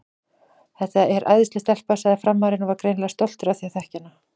Þetta er æðisleg stelpa, sagði Frammarinn og var greinilega stoltur af því að þekkja hana.